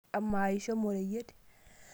Amaa ishomo oreyiet?